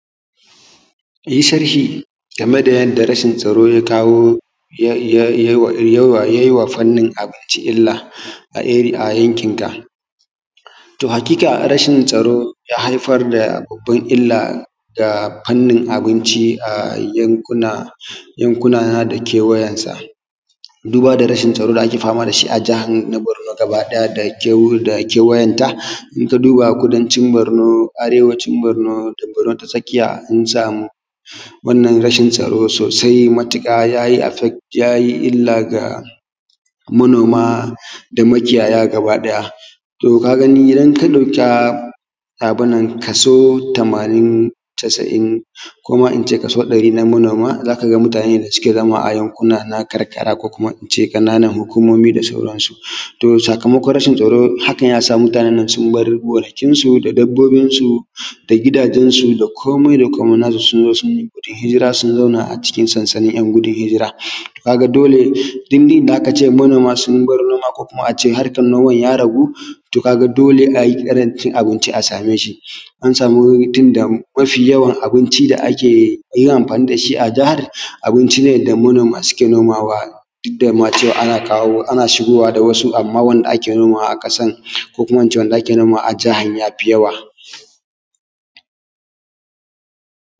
Yi sharhi game da yadda rashin tsaro ya kawo yai.. yai.. yaiwa fannin abinci illa a ari.. ayankin ka, to hakiƙa rashin tsaro ya haifar da babban illa ga fannin abinci a yankuna yankuna na da kewayan sa, duba da rashin tsaro da ake fama da shi a jahar na Borno gabaɗaya da'' da kewayenta, in ka duba kudancin Borno, arewacin Borno da Borno ta tsakiya, an samu wannan rashin tsaro sosai matuƙar yai.. yayi illa ga manoma da makiyaya gabaɗaya to ka gani, idan ka ɗauka abun nan, kaso tamanin casa'iin koma in ce kaso ɗari na manoma, za ka ga mutane da suke zama a yankuna na karkara ko kuma in ce ƙananan hukumomi da sauransu, to sakamako rashin tsaro hakann ya sa mutane nan sun bar gonakin su da dabbobin su da gidajen su da komai fa komai nasu, sun zo suna gudun hijira sun zauna a cikin sansanin en hijira, ka ga dole inda aka ce manoma sun bara noma ko kuma a ce harkan noman ya ragu, to ka ga dole ai ƙarancin abinci a sameshi. mun samu tunda mafi yawan abinci da ake yin amfani da shi ʤahar abinʧi ne da manoma suke nomawa, duk da ma cewa ana kawo ana shigowa da wasu, amma wanda ake nomawa aƙasan ko kuma in ce wanda ake nomawa a jahar ya fi yawa.